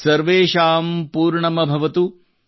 ಸರ್ವೇಶಾಂ ಪೂರ್ಣಮ್ ಭವತು